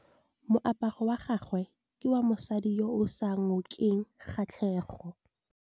Moaparô wa gagwe ke wa mosadi yo o sa ngôkeng kgatlhegô.